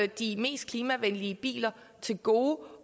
de mest klimavenlige biler til gode